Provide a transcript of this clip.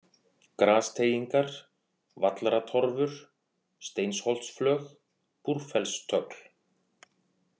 Grasteigingar, Vallratorfur, Steinsholtsflög, Búrfellstögl